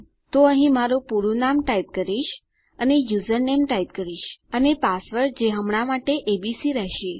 તો અહીં મારું પૂરું નામ ટાઈપ કરીશ અને યુઝરનેમ ટાઈપ કરીશ અને પાસવર્ડ જે હમણાં માટે એબીસી રહેશે